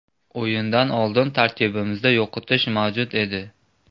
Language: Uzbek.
O‘yindan oldin tarkibimizda yo‘qotish mavjud edi.